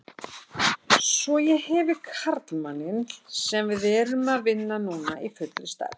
Svo ég hefi karlmanninn sem við erum að vinna núna í fullri stærð.